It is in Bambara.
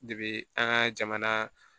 an ka jamana